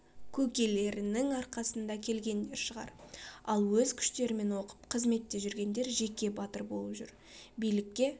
көкелерінің арқасында келгендер шығар ал өз күштерімен оқып қызметте жүргендер жеке батыр болып жүр билікке